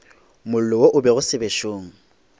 mollo wo o lego sebešong